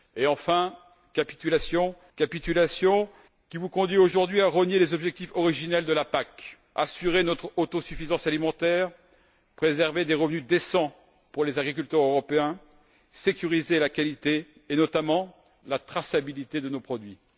Enfin, la capitulation qui vous conduit aujourd'hui à rogner les objectifs originels de la PAC assurer notre autosuffisance alimentaire, préserver des revenus décents pour les agriculteurs européens ainsi que garantir la qualité et, notamment, la traçabilité de nos produits.